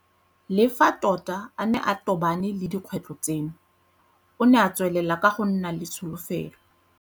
Le fa tota a ne a tobane le dikgwetlho tseno, o ne a tswelela go nna le tsholofelo.